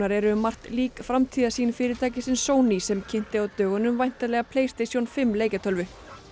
eru um margt lík framtíðarsýn fyrirtækisins Sony sem kynnti á dögunum væntanlega fimm leikjatölvu